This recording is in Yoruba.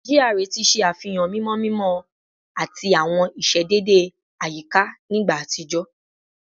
GRA ti ṣe afihan mimọ mimọ ati awọn iṣedede ayika ni igba atijọ